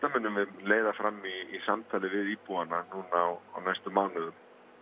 munum við leiða fram í samtali við íbúana á næstu mánuðum